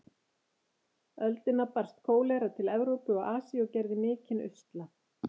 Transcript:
öldina barst kólera til Evrópu og Asíu og gerði mikinn usla.